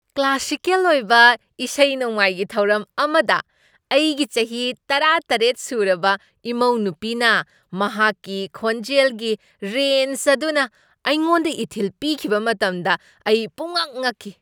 Classical ꯑꯣꯏꯕ ꯏꯁꯩ ꯅꯣꯡꯃꯥꯏꯒꯤ ꯊꯧꯔꯝ ꯑꯃꯗ ꯑꯩꯒꯤ ꯆꯍꯤ ꯇꯔꯥꯇꯔꯦꯠ ꯁꯨꯔꯕ ꯏꯃꯧꯅꯨꯄꯤꯅ ꯃꯍꯥꯛꯀꯤ ꯈꯣꯟꯖꯦꯜꯒꯤ ꯔꯦꯟꯖ ꯑꯗꯨꯅ ꯑꯩꯉꯣꯟꯗ ꯏꯊꯤꯜ ꯄꯤꯈꯤꯕ ꯃꯇꯝꯗ ꯑꯩ ꯄꯨꯝꯉꯛ ꯉꯛꯈꯤ꯫